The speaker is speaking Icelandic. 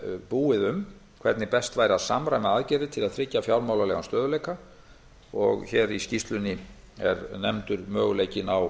búið um hvernig best væri að samræma aðgerðir til að tryggja fjármálalegan stöðugleika og hér í skýrslunni er nefndur möguleikinn á